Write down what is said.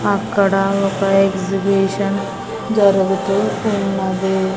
అక్కడ ఒక ఎక్సిబిషన్ జరుగుతూ ఉన్నది.